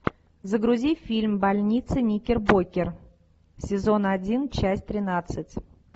загрузи фильм больница никербокер сезон один часть тринадцать